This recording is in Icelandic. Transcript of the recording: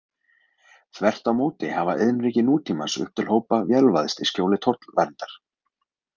Þvert á móti hafa iðnríki nútímans upp til hópa vélvæðst í skjóli tollverndar.